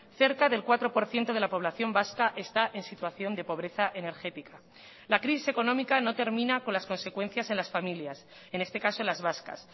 cerca del cuatro por ciento de la población vasca está en situación de pobreza energética la crisis económica no termina con las consecuencias en las familias en este caso las vascas